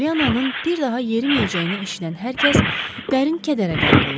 Pollyanannın bir daha yeriməyəcəyini eşidən hər kəs dərin kədərə qərq olurdu.